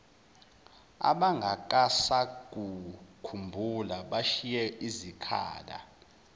abangasakukhumbuli bashiye izikhala